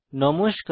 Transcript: নমস্কার